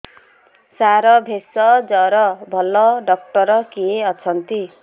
ସାର ଭେଷଜର ଭଲ ଡକ୍ଟର କିଏ ଅଛନ୍ତି